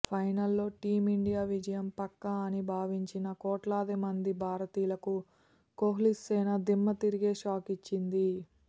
ఫైనల్లో టీమిండియా విజయం పక్కా అని భావించిన కోట్లాదిమంది భారతీయులకు కోహ్లీసేన దిమ్మ తిరిగే షాకిచ్చింది